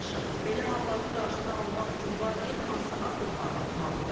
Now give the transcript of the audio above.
Belə halların qarşısını almaq üçün valideyn hansı addımları atmalıdır?